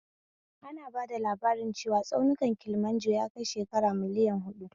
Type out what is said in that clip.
Ana bada labarin cewa tsaunin Kilimanjaro yakai shekara miliyan huɗu